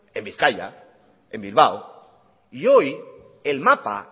en bizkaia en bilbao y hoy el mapa